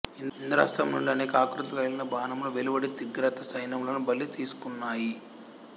ఇంద్రాస్త్రము నుండి అనేక ఆకృతులు కలిగిన బాణములు వెలువడి త్రిగర్త సైన్యములను బలి తీసుకున్నాయి